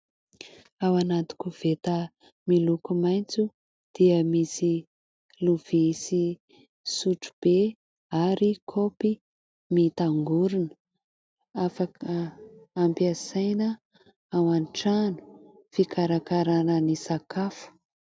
Ao anaty koveta miloko maitso dia misy lovia sy sotro be ary kaopy mitangorina afaka ampiasaina ao an-trano fikarakarana ny sakafo.